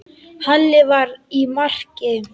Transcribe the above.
Halli var í marki.